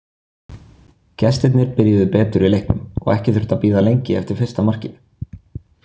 Gestirnir byrjuðu betur í leiknum og ekki þurfti að bíða lengi eftir fyrsta markinu.